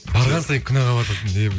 барған сайын күнәға батасың деп